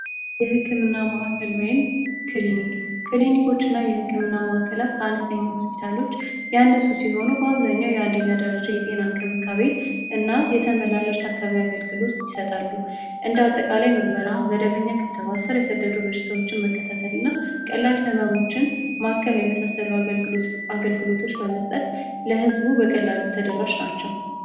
የህክምና ማዕከል ወይም ክሊኒክና የህክምና መዋዕከላት ከአነስተኛ ሆስፒታሎች ሲሆኑ በአብዛኛው የጤና የተመላለስ ታካሚ አገልግሎት ይሰጣሉ እንደ አጠቃላይ ምርመራ መደበኛ ስር የሰደዱ በሽታዎችን መከተልና ቀላል ህመሞችን ማከም የመሳሰሉ አገልግሎት አገልግሎቶች በመስጠት ለህዝቡ በቀላሉ ተደራሽ ናቸው